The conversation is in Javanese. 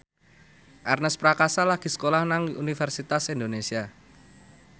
Ernest Prakasa lagi sekolah nang Universitas Indonesia